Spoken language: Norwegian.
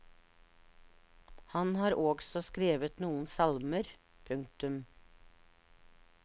Han har også skrevet noen salmer. punktum